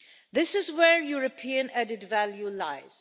This is where European added value lies.